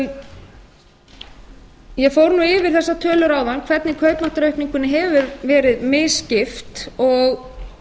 ég fór yfir þessar tölur áðan hvernig kaupmáttaraukningunni hefur verið misskipt og